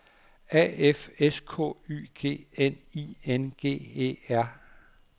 A F S K Y G N I N G E R